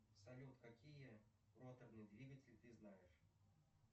салют какие роторные двигатели ты знаешь